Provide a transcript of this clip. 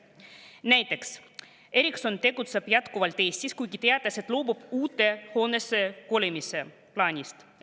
Näiteks tegutseb Ericsson jätkuvalt Eestis, kuigi teatas, et loobub uude hoonesse kolimise plaanist.